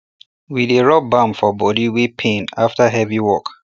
we dey rub balm for body wey pain after heavy work